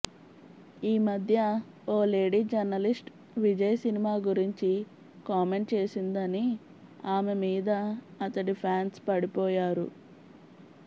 ఈ మధ్య ఓ లేడీ జర్నలిస్ట్ విజయ్ సినిమా గురించి కామెంట్ చేసిందని ఆమె మీద అతడి ఫ్యాన్స్ పడిపోయారు